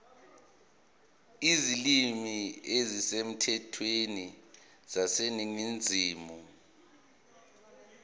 izilimi ezisemthethweni zaseningizimu